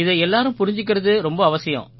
இதை எல்லாரும் புரிஞ்சுக்கறது ரொம்ப அவசியம்